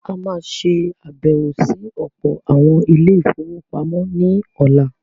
A má a ṣe àbẹ̀wọ̀ sí ọ̀pọ̀ àwọn “ Ilé-ìfowópamọ́ ” ní ọ̀la.